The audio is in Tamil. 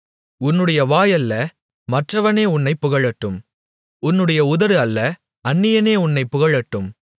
உன்னுடைய வாய் அல்ல மற்றவனே உன்னைப் புகழட்டும் உன்னுடைய உதடு அல்ல அந்நியனே உன்னைப் புகழட்டும்